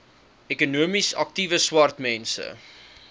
ekonomies aktiewe swartmense